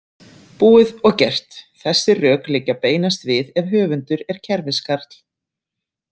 Búið og gert Þessi rök liggja beinast við ef höfundur er kerfiskarl.